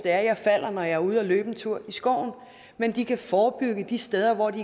at jeg falder når jeg er ude at løbe en tur i skoven men de kan forebygge de steder hvor de